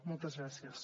moltes gràcies